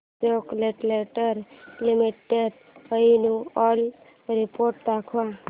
Ashok Leyland limited annual report दाखव